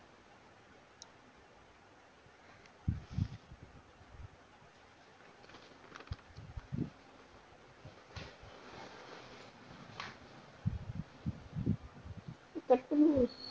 கஷ்டம் இல்லே.